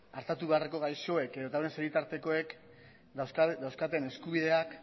artatu beharreko gaixoek edota hauen senitartekoek dauzkaten eskubideak